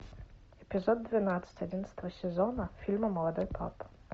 эпизод двенадцать одиннадцатого сезона фильма молодой папа